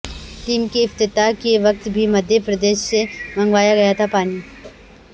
dam کے افتتاح کے وقت بھی مدھیہ پردیش سے منگایا گیا تھا پانی